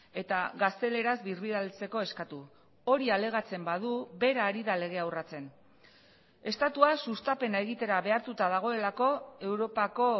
eta gazteleraz birbidaltzeko eskatu hori alegatzen badu bera ari da legea urratsen estatua sustapena egitera behartuta dagoelako europako